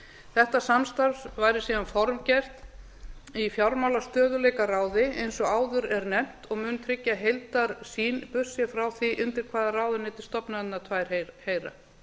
þetta samstarf væri síðan formgert í fjármálastöðugleikaráði eins og áður er nefnt og mun tryggja heildarsýn burt séð frá því undir hvaða ráðuneyti stofnanirnar tvær heyra